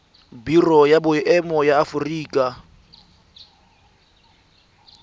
biro ya boemo ya aforika